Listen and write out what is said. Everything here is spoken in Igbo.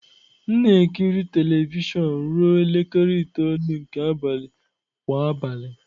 M na-ekiri telivishọn ruo elekere itoolu nke abalị kwa abalị.